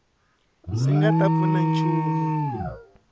swi nga ta pfuna nchumu